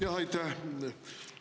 Jaa, aitäh!